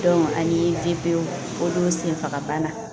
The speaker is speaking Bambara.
ani VPO senfagabana